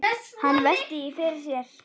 Hann veltir því fyrir sér.